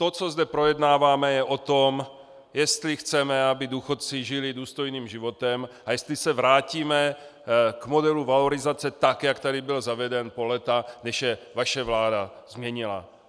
To, co zde projednáváme, je o tom, jestli chceme, aby důchodci žili důstojným životem, a jestli se vrátíme k modelu valorizace tak, jak tady byl zaveden po léta, než je vaše vláda změnila.